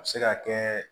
A bɛ se ka kɛ